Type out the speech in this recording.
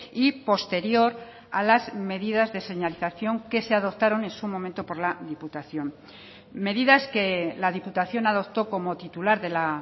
y posterior a las medidas de señalización que se adoptaron en su momento por la diputación medidas que la diputación adoptó como titular de la